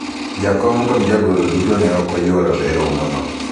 jakom kod jagoro duto ne ok oyuoro e romo no